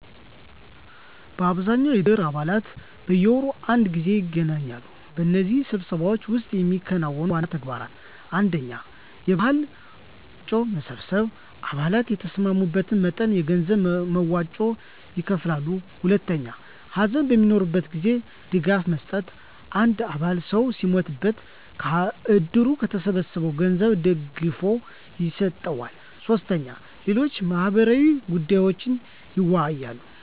በአብዛኛው የእድር አባላት በየወሩ አንድ ጊዜ ይገናኛሉ። በእነዚህ ስብሰባዎች ውስጥ የሚከናወኑ ዋና ተግባራት: 1. የበዓል መዋጮ መሰብሰብ _አባላት የተስማሙትን መጠን የገንዘብ መዋጮ ይከፍላሉ። 2. ሀዘን በሚኖርበት ጊዜ ድጋፍ መስጠት _አንድ አባል ሰው ሲሞትበት ከእድሩ ከተሰበሰበው ገንዘብ ድጋፍ ይሰጠዋል። 3. ሌሎች ማህበራዊ ጉዳዮችንም ይወያያሉ።